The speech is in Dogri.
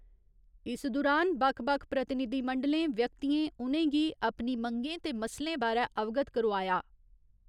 इस दुरान बक्ख बक्ख प्रतिनिधिमंडलें, व्यक्तियें उ'नेंगी अपनी मंगें ते मसलें बारै अवगत करोआया।